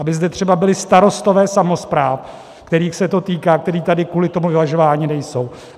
Aby zde třeba byli starostové samospráv, kterých se to týká, kteří tady kvůli tomu vyvažování nejsou.